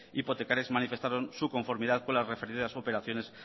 hipotecarias manifestaron su conformidad con las referidas operaciones